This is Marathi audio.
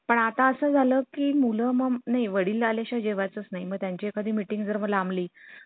अं नाव महत्वाचं आहे ना